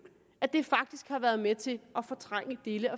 at det faktisk har været med til at fortrænge dele